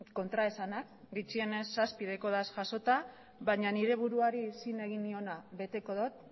kontraesanak bitxienez zazpi dauzkat jasota baina nire buruari zin egin niona beteko dut